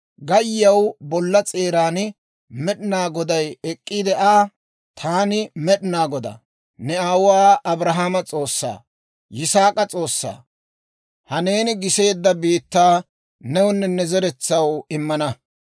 gayyiyaw bolla s'eeran Med'inaa Goday ek'k'iide Aa, «Taani Med'inaa Godaa, ne aawuwaa Abrahaama S'oossaa, Yisaak'a S'oossaa. Ha neeni giseedda biittaa newunne ne zeretsaw immana;